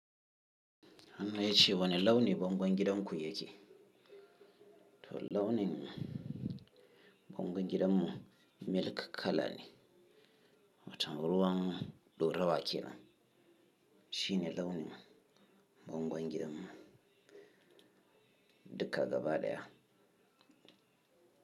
Har ma ya ce wa ni launin bangon gidan ku yake? Toh launin bangon gidanmu milk color ne, watan ruwan do rawa ke nan. Shine launin bangon gidanmu dukka gaba daya.